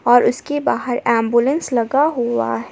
और उसके बाहर एंबुलेंस लगा हुआ है।